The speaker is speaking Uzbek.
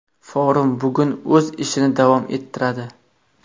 Forum bugun o‘z ishini davom ettiradi.